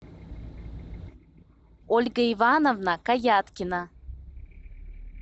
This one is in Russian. ольга ивановна каяткина